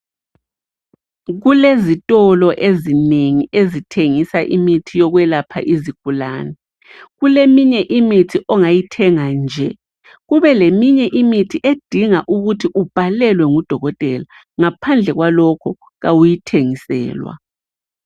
Kulezitolo ezinengi ezithengisa imithi yokwelapha izigulane, kuleminye imithi ongayithenga nje kubeleminye imithi edinga ukuthi ubhalelwe ngudokotela ngaphandle kwalokho awuyithengiselwa.